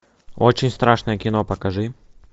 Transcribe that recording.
очень страшное кино покажи